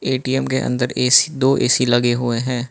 ATM के अंदर AC दो ए_सी लगे हुए हैं।